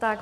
Tak.